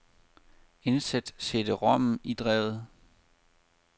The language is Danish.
Indsæt cd-rommen i drevet.